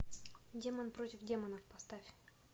демон против демона поставь